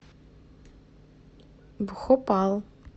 бхопал